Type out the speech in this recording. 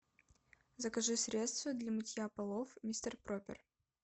закажи средство для мытья полов мистер проппер